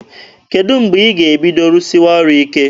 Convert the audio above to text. Kedụ mgbe ị ga-ebido rụsịwa ọrụ ike?